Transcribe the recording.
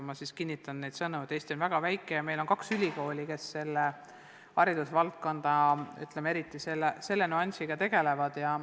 Ma siis kinnitan neid sõnu: Eesti on väga väike ja meil on kaks ülikooli, kes haridusvaldkonna selle nüansiga tegelevad.